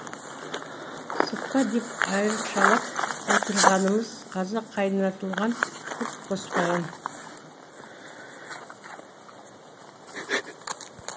сықпа деп айрықшалап отырғанымыз қазақ қайнатылған құрт қоспаған